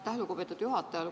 Aitäh, lugupeetud juhataja!